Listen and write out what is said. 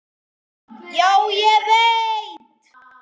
Já, ég veit.